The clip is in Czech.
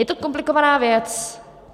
Je to komplikovaná věc.